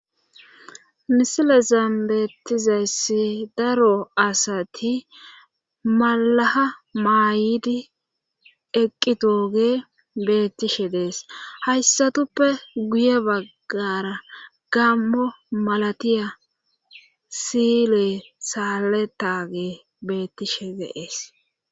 misile zan beettizeesi daro asati malaha maayidi eqqi toge beettishe dees hayssatuppe guye baggara gammo malatiya sile saaletage beettishe deees